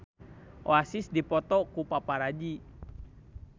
Oasis dipoto ku paparazi